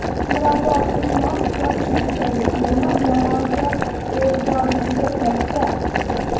Mirabror Usmonov boshchiligidagi terma jamoaga e’tibor juda katta.